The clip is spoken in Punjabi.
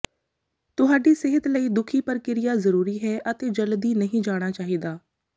ਤੁਹਾਡੀ ਸਿਹਤ ਲਈ ਦੁਖੀ ਪ੍ਰਕਿਰਿਆ ਜ਼ਰੂਰੀ ਹੈ ਅਤੇ ਜਲਦੀ ਨਹੀਂ ਜਾਣਾ ਚਾਹੀਦਾ